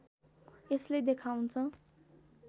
यसले देखाउँछ